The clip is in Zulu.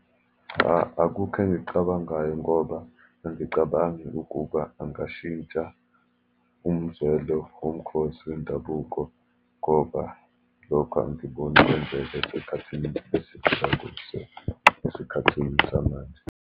Cha, akukho engikucabangayo ngoba angicabangi ukuba angashintsha umzwelo womkhosi wendabuko, ngoba lokho angiboni kwenzeka esikhathini esiphila kuso, esikhathini samanje.